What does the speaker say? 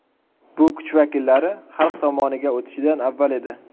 Bu kuch vakillari xalq tomoniga o‘tishidan avval edi.